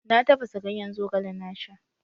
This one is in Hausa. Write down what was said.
Na tafasa ganyen Zogale na sha.